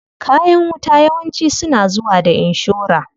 Kayan wuta yawanci suna zuwa da inshora.